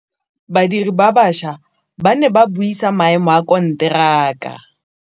Badiri ba baša ba ne ba buisa maêmô a konteraka.